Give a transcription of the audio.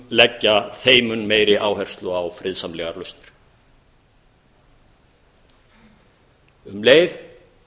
leggja þeim mun meiri áherslu á friðsamlegar lausnir um leið